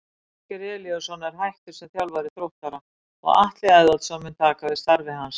Ásgeir Elíasson er hættur sem þjálfari Þróttara og Atli Eðvaldsson mun taka við starfi hans.